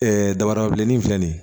dabada bilenni in filɛ nin ye